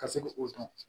Ka se k'o dɔn